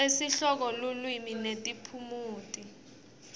tesihloko lulwimi netiphumuti